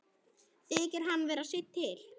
Þykir hann vera seinn til.